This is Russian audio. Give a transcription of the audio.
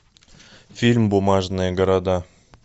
фильм бумажные города